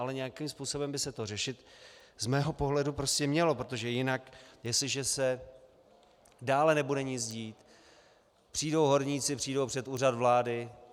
Ale nějakým způsobem by se to řešit z mého pohledu prostě mělo, protože jinak jestliže se dále nebude nic dít, přijdou horníci, přijdou před úřad vlády.